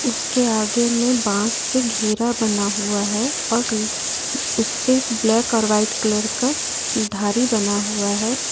उसके आगे में बात से गेरा बना हुआ है और उसे पर ब्लैक और वाइट कलर का धारी बना हुआ है।